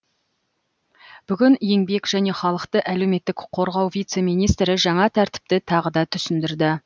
бүгін еңбек және халықты әлеуметтік қорғау вице министрі жаңа тәртіпті тағы да түсіндірді